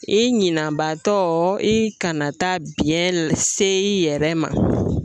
I ɲinanbaatɔ i kana taa biyɛn se i yɛrɛ ma